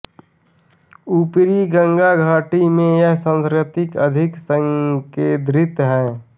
ऊपरी गंगा घाटी में यह संस्कृति अधिक संकेंद्रित है